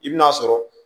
I bi n'a sɔrɔ